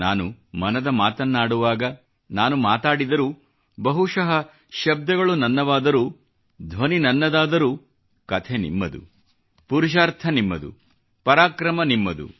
ನಾನು ಮನದ ಮಾತನ್ನಾಡುವಾಗ ನಾನು ಮಾತಾಡಿದರೂ ಬಹುಶಃ ಶಬ್ದಗಳು ನನ್ನವಾದರೂ ಧ್ವನಿ ನನ್ನದಾದರೂ ಕಥೆ ನಿಮ್ಮದು ಪುರುಷಾರ್ಥ ನಿಮ್ಮದು ಪರಾಕ್ರಮ ನಿಮ್ಮದು